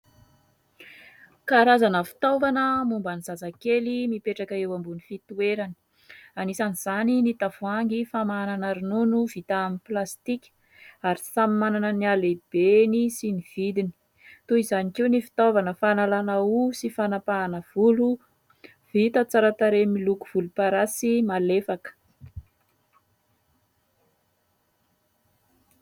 Karazana fitaovana momba ny zazakely mipetraka eo ambonin'ny fitoerany. Anisan'izany ny tavoahangy famanana ronono vita amin'ny plastika ary samy manana ny halehibeny sy ny vidiny ; toy izany koa ny fitaovana fahanalana hoho sy fanapahana volo, vita tsara tarehy miloko volomparasy malefaka.